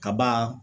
Kaba